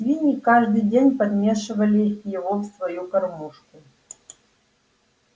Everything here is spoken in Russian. свиньи каждый день подмешивали его в свою кормушку